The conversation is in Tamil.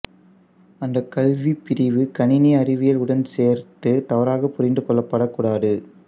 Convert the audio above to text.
அந்த கல்வி பிரிவு கணினி அறிவியல் உடன் சேர்த்து தவறாக புரிந்து கொள்ளப்படக் கூடாது